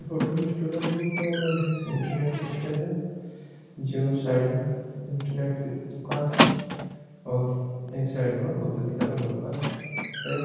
इस फोटो में student book world internet cafe है जो साईड में जो इन्टरनेट की दुकान है और एक साईड और कॉपी किताबा की दुकान है एक--